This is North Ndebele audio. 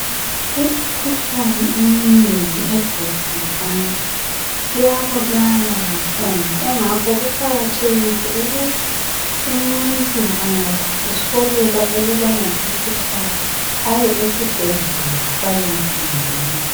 Imikhuhlane eminengi egulwa ngabathu iyabulala kakhulu, kungakho kuqakathekile ukuthi umuntu angazisolela ukuthi ulemikhuhlane , aye esibhedlela bayemkhangela.